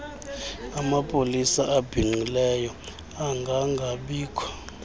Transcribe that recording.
amapolisa abhinqileyo angangabikho